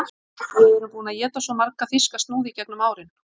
Við erum búin að éta svo marga þýska snúða í gegnum árin